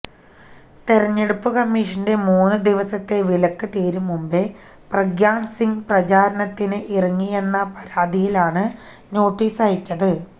തെരഞ്ഞെടുപ്പ് കമ്മീഷന്റെ മൂന്ന് ദിവസത്തെ വിലക്ക് തീരും മുമ്പേ പ്രഗ്യാസിംഗ് പ്രചാരണത്തിന് ഇറങ്ങിയെന്ന പരാതിയിലാണ് നോട്ടീസയച്ചത്